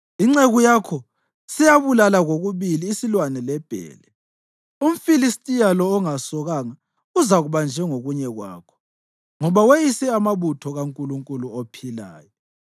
Inceku yakho seyabulala kokubili isilwane lebhele; umFilistiya lo ongasokanga uzakuba njengokunye kwakho, ngoba weyise amabutho kaNkulunkulu ophilayo.